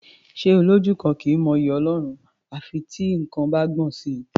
Ṣé Olójú kan kì í mọ'yì Ọlọ́run à fi tí nǹkan bá gbọ̀n sí i?